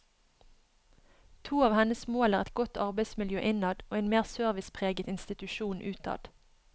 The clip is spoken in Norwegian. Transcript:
To av hennes mål er et godt arbeidsmiljø innad og en mer servicepreget institusjon utad.